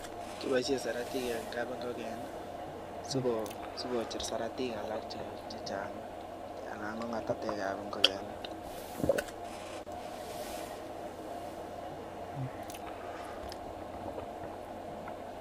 kiboishen saratik eng kab ingoken si kocher saratik alak che chang ana ko ngatatek ab ngokenik